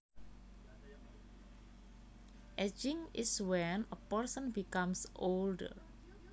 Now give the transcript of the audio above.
Ageing is when a person becomes older